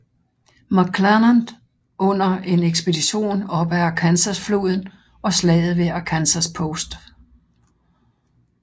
McClernand undder en ekspedition op ad Arkansasfloden og slaget ved Arkansas Post